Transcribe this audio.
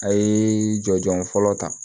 A ye jɔnjɔn fɔlɔ ta